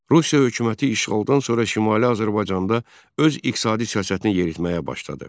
Rusiya hökuməti işğaldan sonra Şimali Azərbaycanda öz iqtisadi siyasətini yeritməyə başladı.